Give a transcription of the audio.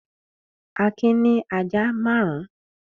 Akin ní ajá márùn-ún.